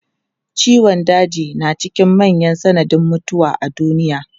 Ciwon daji na cikin manyan sanadin mutuwa a duniya.